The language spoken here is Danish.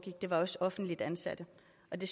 at de